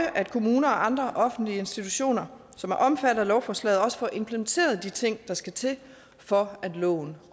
at kommuner og andre offentlige institutioner som er omfattet af lovforslaget også får implementeret de ting der skal til for at loven